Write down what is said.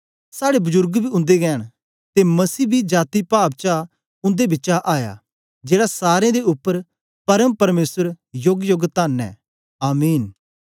साड़े बुजुर्ग बी उन्देगै न ते मसीह बी जाती पाव चा उन्दे बिचा आया जेड़ा सारें दे उपर परम परमेसर योगयोग तन्न ऐ आमीन